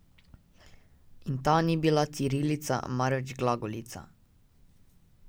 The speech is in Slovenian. In ta ni bila cirilica, marveč glagolica.